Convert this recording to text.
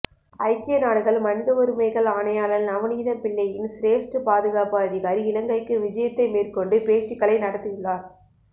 ஐக்கிய நாடுகள் மனித உரிமைகள் ஆணையாளர் நவநீதம்பிள்ளையின் சிரேஸ்ட பாதுகாப்பு அதிகாரி இலங்கைக்கு விஜயத்தை மேற்கொண்டு பேச்சுக்களை நடத்தியுள்ளார்